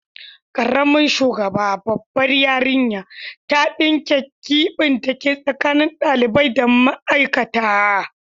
Karamin shugaba, babbar yarinya, ta dinke gibin dake tsakanin dalibai da ma'aikata.